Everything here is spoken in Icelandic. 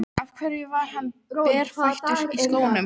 Af hverju var hann berfættur í skónum?